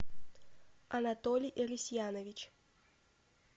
анатолий рысьянович